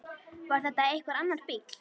Var þetta einhver annar bíll?